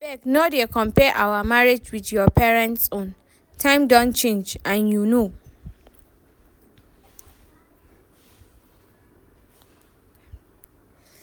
Abeg no dey compare our marriage with your parents own, times don change and you know